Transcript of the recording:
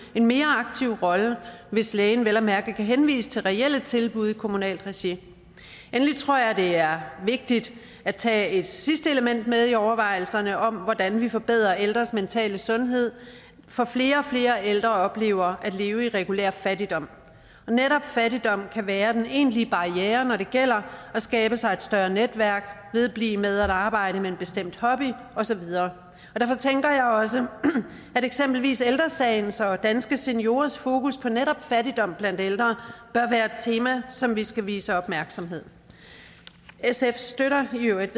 en mere aktiv rolle hvis lægen vel at mærke kan henvise til reelle tilbud i kommunalt regi endelig tror jeg at det er vigtigt at tage et sidste element med i overvejelserne om hvordan vi forbedrer ældres mentale sundhed for flere og flere ældre oplever at leve i regulær fattigdom og netop fattigdom kan være den egentlige barriere når det gælder at skabe sig et større netværk vedblive med at arbejde med en bestemt hobby og så videre derfor tænker jeg også at eksempelvis ældre sagens og danske seniorers fokus på netop fattigdom blandt ældre bør være et tema som vi skal vise opmærksomhed sfs støtter i øvrigt